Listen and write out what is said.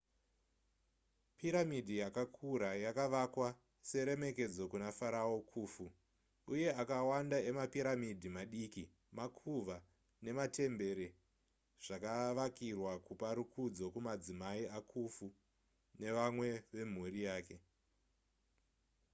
piramidhi yakakura yakavakwa seremekedzo kuna farao khufu uye akawanda emapiramidhi madiki makuva nematembere zvakavakirwa kupa rukudzo kumadzimai akhufu nevamwe vemhuri yake